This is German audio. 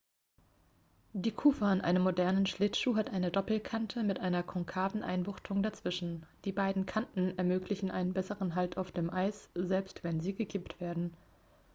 die kufe an einem modernen schlittschuh hat eine doppelkante mit einer konkaven einbuchtung dazwischen die beiden kanten ermöglichen einen besseren halt auf dem eis selbst wenn sie gekippt werden